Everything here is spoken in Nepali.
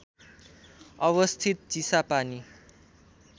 अवस्थित चिसापानी